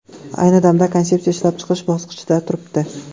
Ayni paytda konsepsiya ishlab chiqish bosqichida turibdi.